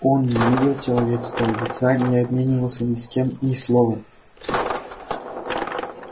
он не видел человеческого лица не обменивался ни с кем ни словом